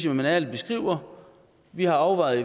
at man ærligt beskriver vi har afvejet